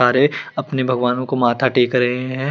अरे अपने भगवानो को माथा टेक रहे है।